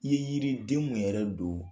I ye yiriden mun yɛrɛ don